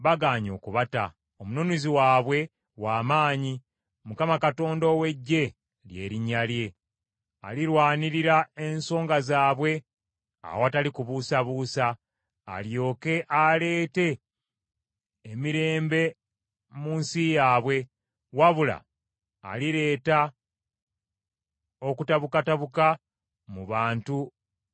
Omununuzi waabwe w’amaanyi, Mukama Katonda ow’Eggye lye linnya lye. Alirwanirira ensonga zaabwe awatali kubuusabuusa, alyoke aleete emirembe mu nsi yaabwe; wabula alireeta okutabukatabuka mu bantu ba Babulooni.